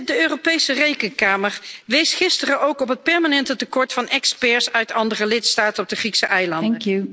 De Europese Rekenkamer wees gisteren ook op het permanente tekort aan experts uit andere lidstaten op de Griekse eilanden.